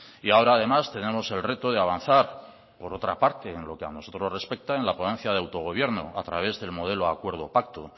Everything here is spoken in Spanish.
y ahora además tenemos el reto de avanzar por otra parte en lo que a nosotros nos respecta en la ponencia de autogobierno a través del modelo acuerdo pacto